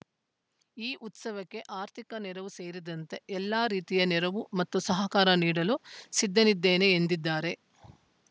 ಈ ಉತ್ಸವಕ್ಕೆ ಆರ್ಥಿಕ ನೆರವು ಸೇರಿದಂತೆ ಎಲ್ಲ ರೀತಿಯ ನೆರವು ಮತ್ತು ಸಹಕಾರ ನೀಡಲು ಸಿದ್ಧನಿದ್ದೇನೆ ಎಂದಿದ್ದಾರೆ